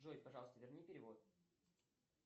джой пожалуйста верни перевод